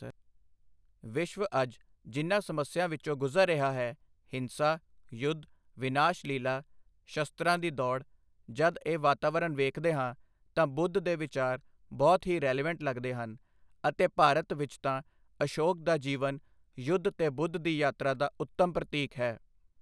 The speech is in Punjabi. ਵਿਸ਼ਵ ਅੱਜ ਜਿਨਾਂ ਸਮੱਸਿਆ ਵਿੱਚੋਂ ਗੁਜ਼ਰ ਰਿਹਾ ਹੈ, ਹਿੰਸਾ, ਯੁੱਧ, ਵਿਨਾਸ਼ਲੀਲਾ, ਸ਼ਸਤਰਾਂ ਦੀ ਦੌੜ, ਜਦ ਇਹ ਵਾਤਾਵਰਨ ਵੇਖਦੇ ਹਾਂ ਤਾਂ ਬੁੱਧ ਦੇ ਵਿਚਾਰ ਬਹੁਤ ਹੀ ਰੇਲੇਵੈਂਟ ਲੱਗਦੇ ਹਨ ਅਤੇ ਭਾਰਤ ਵਿੱਚ ਤਾਂ ਅਸ਼ੋਕ ਦਾ ਜੀਵਨ ਯੁੱਧ ਤੇ ਬੁੱਧ ਦੀ ਯਾਤਰਾ ਦਾ ਉੱਤਮ ਪ੍ਰਤੀਕ ਹੈ।